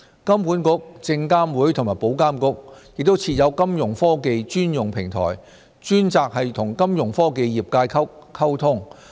金管局、證監會和保監局亦設有金融科技專用平台，專責與金融科技業界溝通。